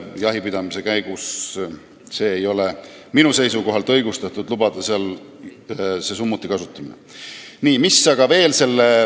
Jahipidamise käigus ei ole minu arvates õigustatud summuti kasutamist lubada.